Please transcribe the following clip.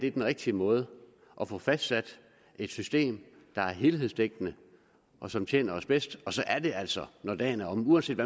er den rigtige måde at få fastlagt et system der er helhedsdækkende og som tjener os bedst og så er det altså når dagen er omme uanset